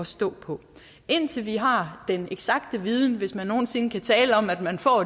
stå på indtil vi har den eksakte viden hvis man nogen sinde kan tale om at man får